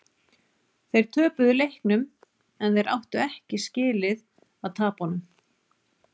Þeir töpuðu leiknum en þeir áttu ekki skilið að tapa honum.